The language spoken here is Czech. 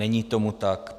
Není tomu tak.